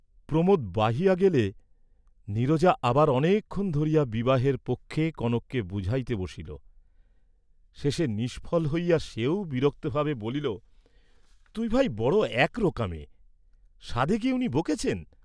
প্রমোদ বাহিয়া গেলে নীরজা আবার অনেকক্ষণ ধরিয়া বিবাহের পক্ষে কনককে বুঝাইতে বসিল, শেষে নিষ্ফল হইয়া সেও বিরক্তভাবে বলিল, "তুই ভাই, বড় একরোকা মেয়ে; সাধে কি উনি বকেছেন?"